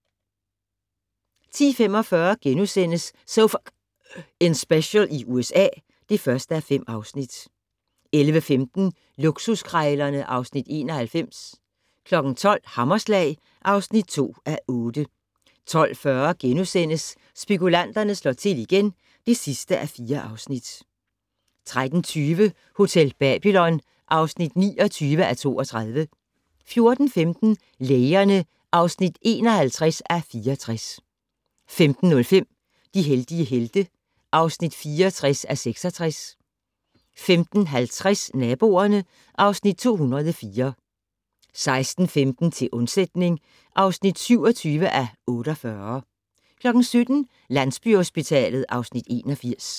10:45: So F***ing Special i USA (1:5)* 11:15: Luksuskrejlerne (Afs. 91) 12:00: Hammerslag (2:8) 12:40: Spekulanterne slår til igen (4:4)* 13:20: Hotel Babylon (29:32) 14:15: Lægerne (51:64) 15:05: De heldige helte (64:66) 15:50: Naboerne (Afs. 204) 16:15: Til undsætning (27:48) 17:00: Landsbyhospitalet (Afs. 81)